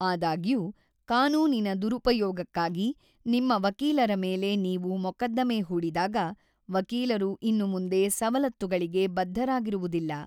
ಆದಾಗ್ಯೂ, ಕಾನೂನಿನ ದುರುಪಯೋಗಕ್ಕಾಗಿ ನಿಮ್ಮ ವಕೀಲರ ಮೇಲೆ ನೀವು ಮೊಕದ್ದಮೆ ಹೂಡಿದಾಗ, ವಕೀಲರು ಇನ್ನು ಮುಂದೆ ಸವಲತ್ತುಗಳಿಗೆ ಬದ್ಧರಾಗಿರುವುದಿಲ್ಲ.